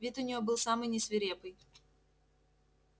вид у неё был самый не свирепый